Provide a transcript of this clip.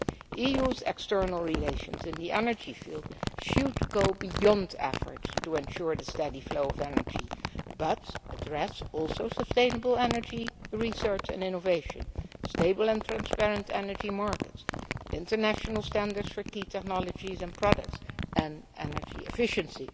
The EU's external relations in the energy field should go beyond efforts to ensure the steady flow of energy, but also address sustainable energy, research and innovation, stable and transparent energy markets, international standards for key technologies and products, and energy efficiency.